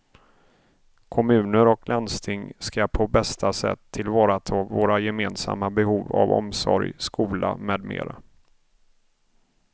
Kommuner och landsting ska på bästa sätt tillvarata våra gemensamma behov av omsorg, skola med mera.